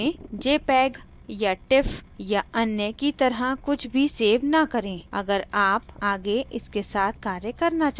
gimp में jpeg या tif या अन्य की तरह कुछ भी सेव न करें अगर आप आगे इसके साथ कार्य करना चाहते हैं